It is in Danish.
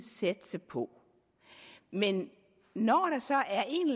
satse på men når der så